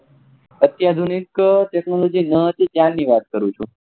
આધુનિક technology ન હતી ત્યાની વાત કરું છું